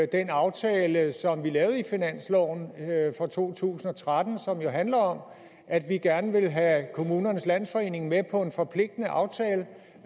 den aftale som vi lavede i finansloven for to tusind og tretten og som jo handler om at vi gerne vil have kommunernes landsforening med på en forpligtende aftale